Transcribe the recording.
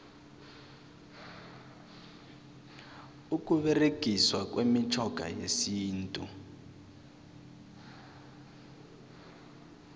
ukuberegiswa kwemitjhoga yesintu